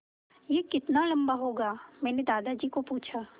यह कितना लम्बा होगा मैने दादाजी को पूछा